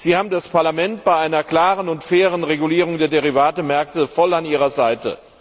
Sie haben das Parlament bei einer klaren und fairen Regulierung der Derivatemärkte voll an Ihrer Seite.